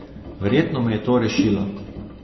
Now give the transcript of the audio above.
Verjetno me je to rešilo.